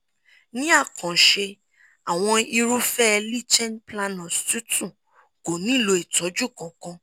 ní àkànṣe àwọn irúfẹ̀ẹ́ líchen planus tútù kò nílò ìtọ́jú kankan